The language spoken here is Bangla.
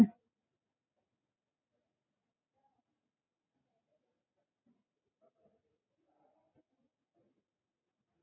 মানে ফেনটা ফেলে দিবি ভাতের, তারপরে একটা জায়গায় রেখে ওটাকে ঠান্ডা করতে ছেড়ে দিবি, মানে ওটাকে এখন নিজের মতো রেখে দিবি।